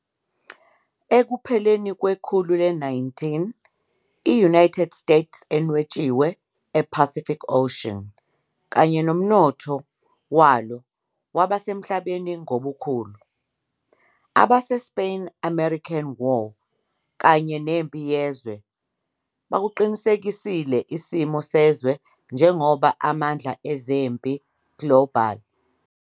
Ekupheleni kwekhulu le-19, i-United States enwetshiwe ePacific Ocean, kanye nomnotho walo kwaba emhlabeni ngobukhulu. AbaseSpain-American War kanye neMpi Yezwe I ukuqinisekisile isimo wezwe njengoba amandla global ezempi.